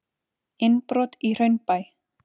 Innbrot í Hraunbæ